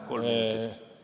Kolm minutit.